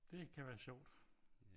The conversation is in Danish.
Det kan være sjovt